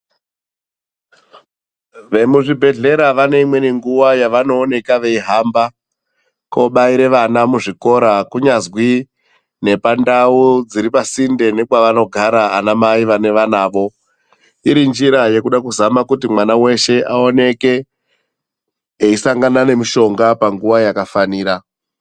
Vemuzvibhedhlera vane imweni nguwa yavanoonekwa veihamba kobaira vana muzvikora kunyazwi nepandau dziri pasinde pavanogara ana mai vane vanawo .Iri njira yekuda kuti mwana weshe aoneke eisangana nemishonga panguwa yakafanira.